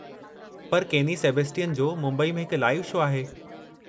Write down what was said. पर केनी सेबेस्टियन जो मुंबईअ में हिकु लाइव शो आहे।